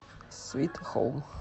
свит хоум